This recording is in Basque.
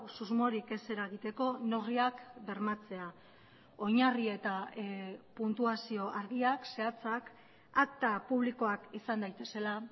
susmorik ez eragiteko neurriak bermatzea oinarri eta puntuazio argiak zehatzak akta publikoak izan daitezela